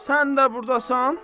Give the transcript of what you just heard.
sən də burdasan?